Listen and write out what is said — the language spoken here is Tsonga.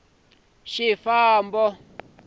wa xifambo lexo ka xi